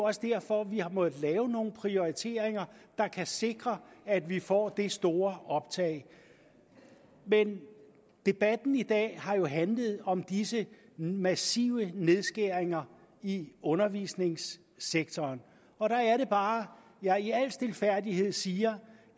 også derfor vi har måttet lave nogle prioriteringer der kan sikre at vi får det store optag men debatten i dag har jo handlet om disse massive nedskæringer i undervisningssektoren og der er det bare at jeg i al stilfærdighed siger